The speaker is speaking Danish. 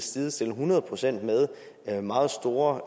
sidestille hundrede procent med meget store